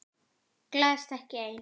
Gleðst ekki ein.